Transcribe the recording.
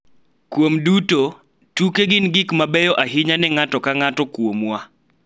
Kuom duto, tuke gin gik mabeyo ahinya ne ng�ato ka ng�ato kuomwa.